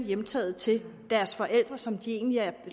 hjemtaget til deres forældre som de egentlig er